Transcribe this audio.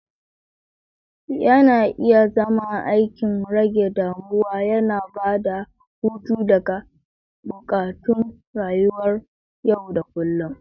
Yana iya zama aikin rage damuwa, yana ba da hutu daga buƙatun rayuwar yau da kullun.